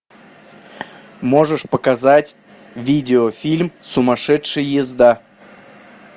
можешь показать видеофильм сумасшедшая езда